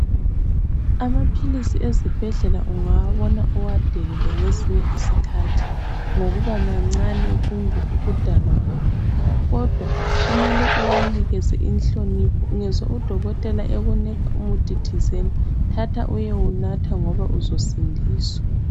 Amaphilisi ezibhedlela ungawabona uwadelele ngezinye izikhathi ngokuba mancane kumbe ukudalwa kwawo kodwa kumele uwanikeze inhlonipho ungezwa udokotela ekunika umuthi ethizeni thatha uyewunatha ngoba uzosindiswa.